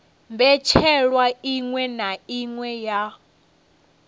mbetshelwa iṅwe na iṅwe ya